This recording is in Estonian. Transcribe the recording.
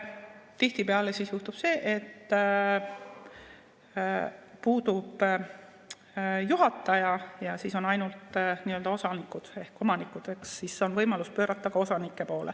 Tihtipeale juhtub, et puudub juhataja ja on ainult nii-öelda osanikud ehk omanikud, ning siis on võimalus pöörata see trahv ka osanike poole.